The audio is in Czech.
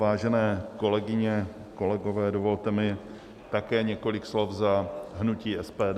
Vážené kolegyně, kolegové, dovolte mi také několik slov za hnutí SPD.